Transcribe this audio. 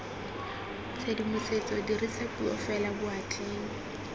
tshedimosetso dirisa puo fela boatleng